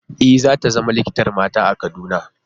E, za ta zama likitar mata a Kaduna.